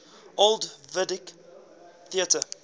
old vic theatre